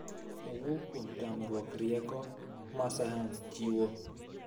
owuok kuom tamruok rieko ma sayans chiwo.